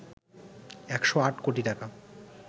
১০৮ কোটি টাকা